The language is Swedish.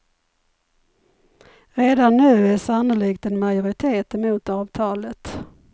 Redan nu är sannolikt en majoritet emot avtalet.